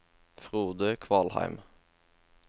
Frode Kvalheim